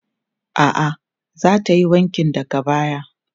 A'a, za ta yi wankin daga baya.